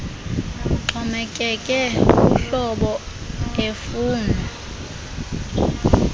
uxhomekeke kuhlobo efunwa